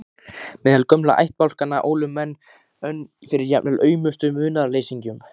Meðal gömlu ættbálkanna ólu menn önn fyrir jafnvel aumustu munaðarleysingjum.